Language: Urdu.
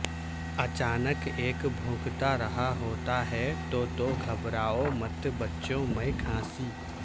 اچانک ایک بھونکتا رہا ہوتا ہے تو تو گھبراو مت بچوں میں کھانسی